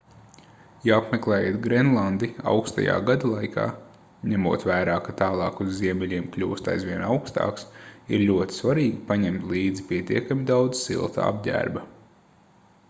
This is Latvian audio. ja apmeklējat grenlandi aukstajā gadalaikā ņemot vērā ka tālāk uz ziemeļiem kļūst aizvien aukstāks ir ļoti svarīgi paņemt līdzi pietiekami daudz silta apģērba